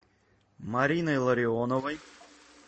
мариной ларионовой